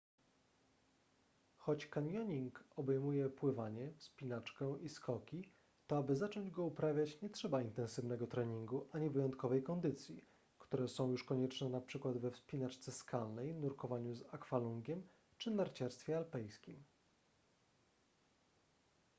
choć kanioning obejmuje pływanie wspinaczkę i skoki to aby zacząć go uprawiać nie trzeba intensywnego treningu ani wyjątkowej kondycji które są już konieczne np. we wspinaczce skalnej nurkowaniu z akwalungiem czy narciarstwie alpejskim